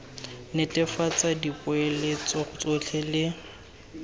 netefatsa gore dipoeletso tsotlhe le